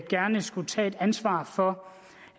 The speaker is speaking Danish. gerne skulle tage et ansvar for